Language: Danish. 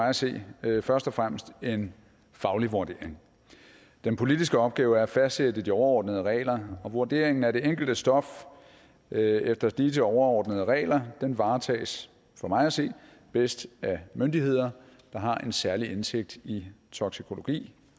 at se først og fremmest en faglig vurdering den politiske opgave er at fastsætte de overordnede regler og vurderingen af det enkelte stof efter disse overordnede regler varetages for mig at se bedst af myndigheder der har en særlig indsigt i toksikologi